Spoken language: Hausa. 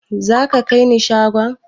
Za ka kaini shagon?